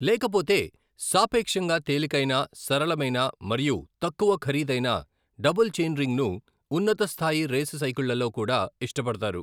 లేకపోతే, సాపేక్షంగా తేలికైన, సరళమైన మరియు తక్కువ ఖరీదైన డబుల్ చెయిన్రింగ్ను, ఉన్నత స్థాయి రేసు సైకిళ్ళలో కూడా, ఇష్టపడతారు.